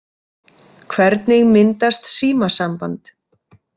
Hvernig myndast símasamband?